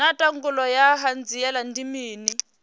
naa ndangulo ya hanziela ndi mini